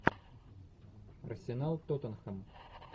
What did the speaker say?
арсенал тоттенхэм